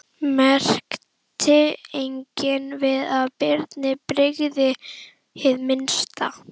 Merkti enginn að Birni brygði hið minnsta.